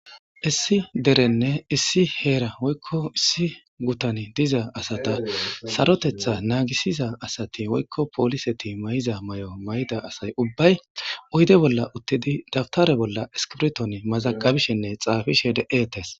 issi derenne issi heera hoykko issi gutani diza asata sarotetha naagisiza asati woykko pooliseti may7iza may7o may7ida asay ubbay uyde bolla uttidi dabtare bolla eskibrton mazaqabishinne xaafishe de7eetes